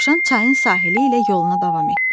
Dovşan çayın sahili ilə yoluna davam etdi.